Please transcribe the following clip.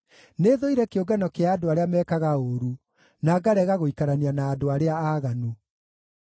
Nĩthũire kĩũngano kĩa andũ arĩa mekaga ũũru, na ngarega gũikarania na andũ arĩa aaganu.